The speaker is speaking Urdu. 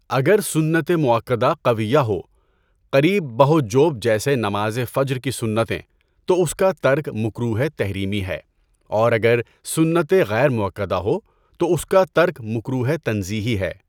اگر سنت مئوکدہ قویہ ہو، قریب بہ وجوب جیسے نماز فجر کی سنتیں تو اس کا ترک مکروہِ تحریمی ہے اور اگر سنتِ غیر مؤکدہ ہو تو اس کا ترک مکروہِ تنزیہی ہے۔